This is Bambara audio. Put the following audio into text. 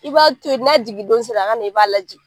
I b'a to yen, n'a jigin don se la, a ka na i b'a jigin.